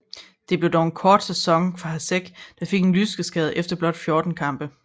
Det blev dog en kort sæson for Hašek der fik en lyskeskade efter blot 14 kampe